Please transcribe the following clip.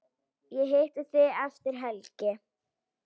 Ég hitti þig eftir helgi.